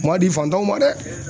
U ma di fantanw ma dɛ.